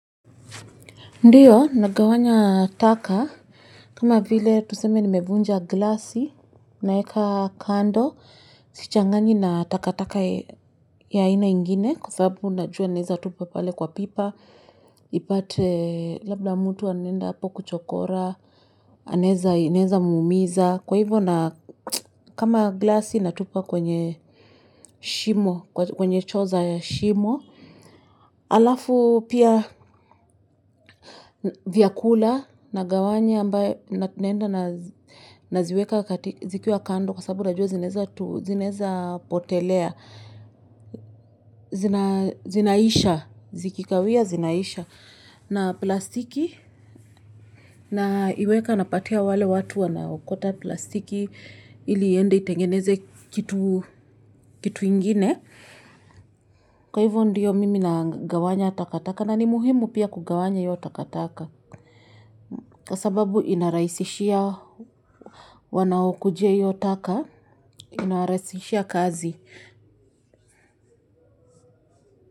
Ndiyo, nagawanya taka, kama vile tuseme ni evunja glasi, naeka kando, sichangani na taka taka ya ina ingine, kufabu unajua aneza tupa pale kwa pipa, ipate labda mtu anenda hapo kuchokora, aneza muumiza, kwa hivyo na kama glasi natupa kwenye shimo, kwenye choo za ya shimo, alafu pia vyakula na gawanya ambaye natinenda na zikiwa kando kwa sababu rajoe zineza potelea, zinaisha, zikikawia zinaisha na plastiki naiweka napatia wale watu wanaokota plastiki ili yende itengeneze kitu ingine. Kwa hivyo ndiyo mimi na gawanya takataka na ni muhimu pia kugawanya hiyo takataka. Kwa sababu inaraisishia wanao kujia yo taka inaraisishia kazi.